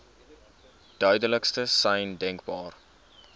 duidelikste sein denkbaar